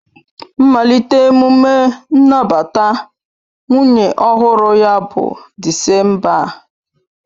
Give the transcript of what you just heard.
Mmalite emume nnabata nwunye ọhụrụ ya bụ Disemba a